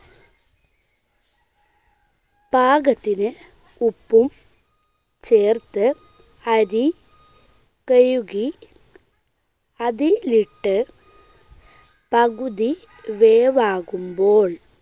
പാകത്തിന് ഉപ്പും ചേർത്ത് അരി കഴുകി അതിലിട്ട് പകുതി വേവാകുമ്പോൾ